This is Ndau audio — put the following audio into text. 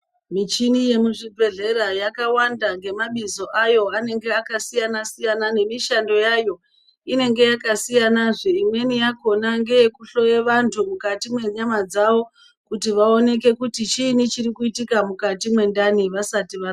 Mishini yemuzvibhedhlera yakawanda ngemabizo ayo anenge akasiyana siyana nemishando yayo inenge yakasiyana zvee imweni yakona ngeye kuhloye vantu mukati mwenyama dzawo kuti vaoneke kuti chiini chiri kuitika mukati mwendani vasati varapwa.